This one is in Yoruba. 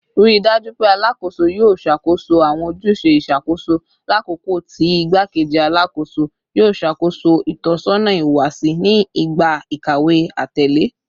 Rii daju pe Alakoso yoo ṣakoso awọn ojuse iṣakoso lakoko ti Igbakeji Alakoso yoo ṣakoso itọsọna ihuwasi ni igba ikawe atẹle